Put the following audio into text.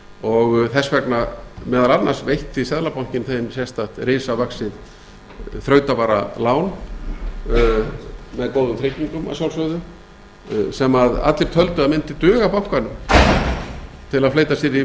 og þess vegna meðal annars veitti seðlabankinn þeim sérstakt risavaxið þrautavaralán með góðum tryggingum að sjálfsögðu sem allir töldu að mundi duga bankanum til að fleyta